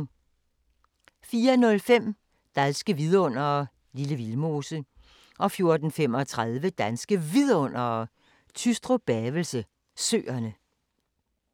04:05: Danske vidundere: Lille Vildmose 04:35: Danske Vidundere: Tystrup-Bavelse Søerne